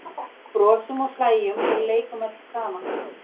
Brosum og hlæjum og leikum öll saman.